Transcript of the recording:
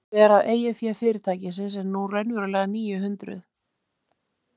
Augljóst er að eigið fé fyrirtækisins er nú raunverulega níu hundruð.